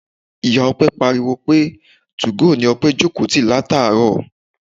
Ìyá Ọpẹ pariwo pé two-go ni Ọpẹ jókòó ti láti àárọ̀.